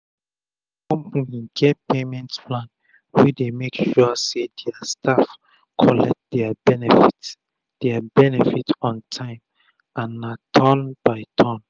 sum company get payment plan wey dey make sure say dia staff collect dia benefit dia benefit on tym and na turn by turn